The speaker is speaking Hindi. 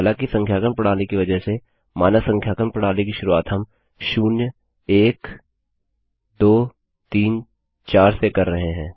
हालाँकि संख्यांकन प्रणाली की वजह से मानक संख्यांकन प्रणाली की शुरुआत हम शून्य एक दो तीन चार से कर रहे हैं